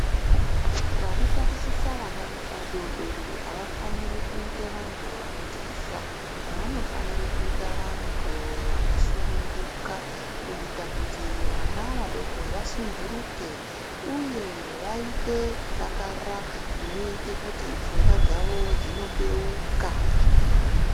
Vanotatichisa vana vadodori avafaniri kuita vantu vanotyisa vanofanire kuite vantu vakasununguka kuita kuti vana vadoko vasunhuruke uye vaite kudakara kunoite kuti pfungwa dzawo dzinobeuka.